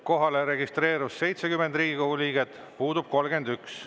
Kohalolijaks registreerus 70 Riigikogu liiget, puudub 31.